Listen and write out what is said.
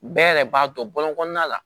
Bɛɛ yɛrɛ b'a dɔn bɔlɔn kɔnɔna la